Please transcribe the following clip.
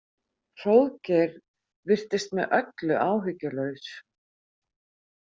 Hróðgeir virtist með öllu áhyggjulaus.